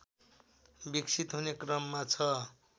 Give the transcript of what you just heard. विकसित हुने क्रममा छ